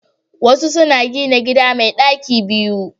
Wasu na gina gida mai daki biyu